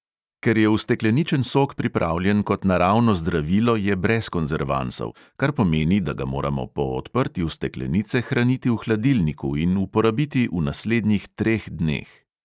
Ker je ustekleničen sok pripravljen kot naravno zdravilo, je brez konzervansov, kar pomeni, da ga moramo po odprtju steklenice hraniti v hladilniku in uporabiti v naslednjih treh dneh.